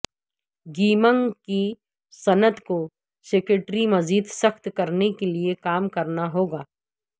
gaming کی صنعت کو سکیورٹی مزید سخت کرنے کے لیے کام کرنا ہو گا